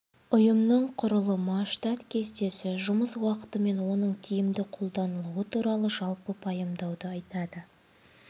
ұйымның құрылымы штат кестесі жұмыс уақыты мен оның тиімді қолданылуы туралы жалпы пайымдауды айтады